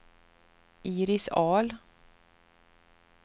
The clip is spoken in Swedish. Iris Ahl